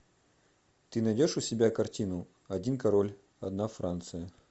ты найдешь у себя картину один король одна франция